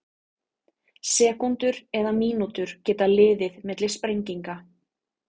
Sekúndur eða mínútur geta liðið milli sprenginga.